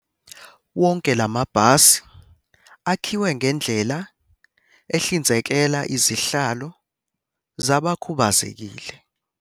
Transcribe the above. Wonke la mabhasi akhiwe ngendlela ehlinzekela izihlalo zabakhu bazekile.